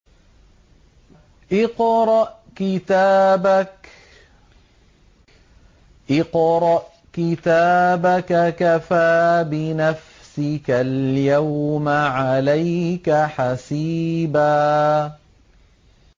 اقْرَأْ كِتَابَكَ كَفَىٰ بِنَفْسِكَ الْيَوْمَ عَلَيْكَ حَسِيبًا